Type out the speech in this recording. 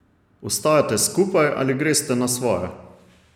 Ostajate skupaj ali greste na svoje?